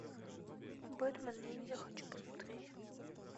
бэтмен ниндзя хочу посмотреть